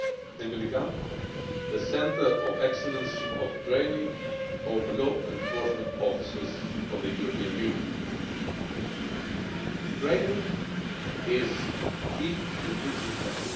and to become the centre of excellence of training of law enforcement officers in the European Union. Training is key in this respect.